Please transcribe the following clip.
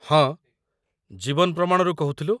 ହଁ, 'ଜୀବନ ପ୍ରମାଣ'ରୁ କହୁଥିଲୁ ।